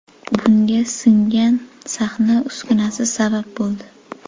Bunga singan sahna uskunasi sabab bo‘ldi.